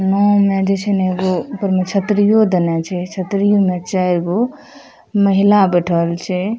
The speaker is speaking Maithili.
नाव में जेई छै नै एगो ऊपर में छतरियों देना छै छतरी उने चार गो महिला बैठल छै ।